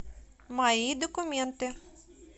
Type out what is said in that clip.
мои документы